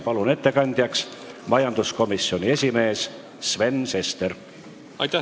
Palun ettekandeks kõnetooli majanduskomisjoni esimehe Sven Sesteri!